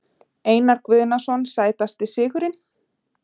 Einar Guðnason Sætasti sigurinn?